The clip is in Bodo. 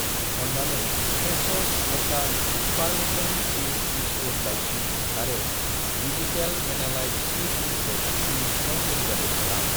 अन्नानै fresh' signature Parmesan cheese biscuit लाउथि आरो वेजितेल मेलानाइट-सि क्रिमखौ दिनैसिमाव डेलिबारि खालाम।